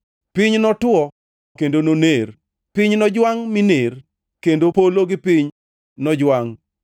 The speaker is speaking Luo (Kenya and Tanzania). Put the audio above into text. Piny notwo kendo noner, piny nojwangʼ miner, kendo polo gi piny nojwangʼ.